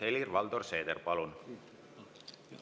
Helir-Valdor Seeder, palun!